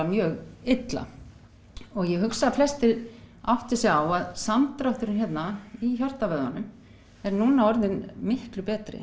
mjög illa og ég hugsa að flestir átti sig á að samdrátturinn hérna í hjartavöðvanum er núna orðinn miklu betri